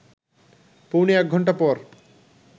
পৌনে এক ঘণ্টা পর